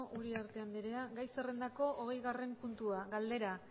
uriarte andrea gai zerrendako hogeigarrena puntua galdera